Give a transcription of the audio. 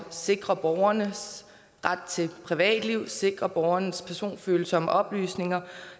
sikre borgernes ret til et privatliv at sikre borgernes personfølsomme oplysninger